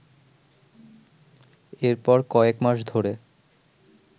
এরপর কয়েক মাস ধরে